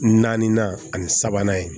Naaninan ani sabanan ye